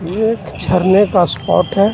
ये एक जरने का स्पॉट है.